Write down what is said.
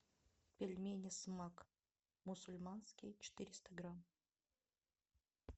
пельмени смак мусульманские четыреста грамм